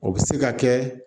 O bɛ se ka kɛ